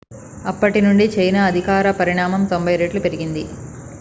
అప్పటి నుండి చైనా ఆర్థిక పరిమాణం 90 రెట్లు పెరిగింది